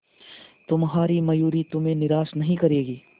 तुम्हारी मयूरी तुम्हें निराश नहीं करेगी